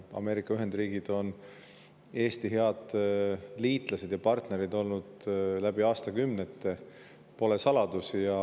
Ameerika Ühendriigid on Eesti head liitlased ja partnerid olnud läbi aastakümnete, see pole saladus.